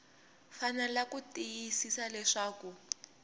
fanele ku tiyisisa leswaku ku